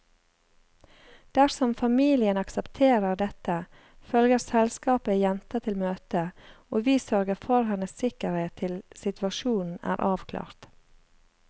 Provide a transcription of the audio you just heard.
Dersom familien aksepterer dette, følger selskapet jenta til møtet, og vi sørger for hennes sikkerhet til situasjonen er avklart.